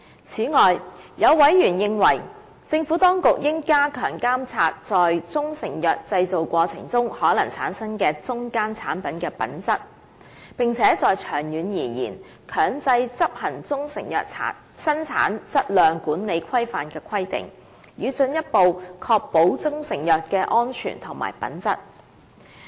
此外，有委員認為，政府當局應加強監察在中成藥製造過程中可能產生的中間產品的品質，並長遠而言，強制執行中成藥生產質量管理規範的規定，以進一步確保中成藥的安全和品質。